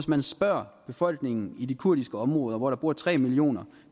man spørger befolkningen i de kurdiske områder hvor der bor tre millioner